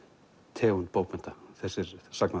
tegund bókmennta þessir